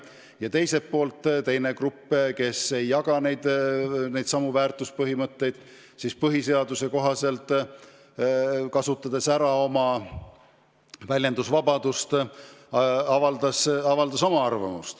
Ja teiselt poolt teine grupp, kes ei jaga neid väärtushinnanguid, kasutas talle põhiseadusega antud vabadust oma arvamust väljendada.